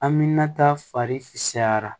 An mi na ta fari cayara